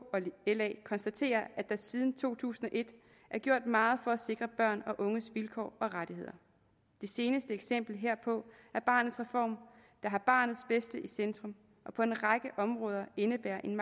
og la konstaterer at der siden to tusind og et er gjort meget for at sikre børns og unges vilkår og rettigheder det seneste eksempel herpå er barnets reform der har barnets bedste i centrum og på en række områder indebærer en